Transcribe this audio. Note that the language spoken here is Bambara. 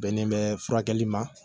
Bɛnnen bɛ furakɛli ma